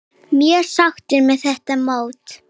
Mjög sáttur með þetta mót.